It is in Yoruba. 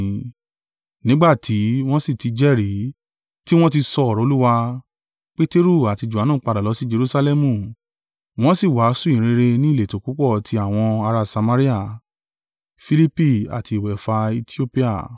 Nígbà tí wọn sì ti jẹ́rìí, tiwọn ti sọ ọ̀rọ̀ Olúwa, Peteru àti Johanu padà lọ sí Jerusalẹmu, wọ́n sì wàásù ìyìnrere ni ìletò púpọ̀ ti àwọn ará Samaria.